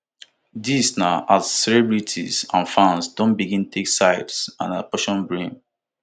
dis na as celebrities and fans don begin take sides and apportion blame